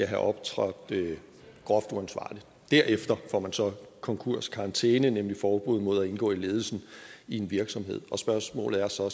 have optrådt groft uansvarligt derefter får man så konkurskarantæne nemlig forbud mod at indgå i ledelsen i en virksomhed spørgsmålet er så